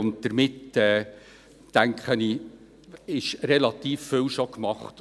Ich denke, damit ist bereits relativ viel gemacht.